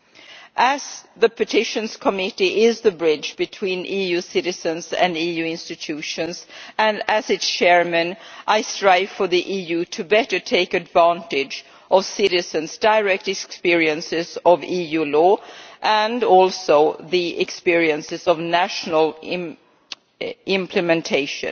The Committee on Petitions is the bridge between EU citizens and EU institutions and, as its Chair, I strive for the EU to better take advantage of citizens' direct experiences of EU law and also the experiences of national implementation,